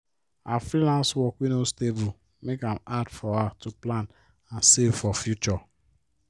her freelance work wey no stable make am hard for her to plan and save for future.